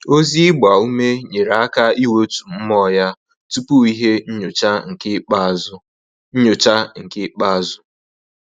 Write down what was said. Ozi ịgba ume nyere aka iwetu mmụọ ya tupu ihe nnyocha nke ikpeazu nnyocha nke ikpeazu